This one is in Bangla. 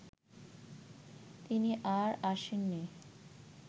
তিনি আর আসেননি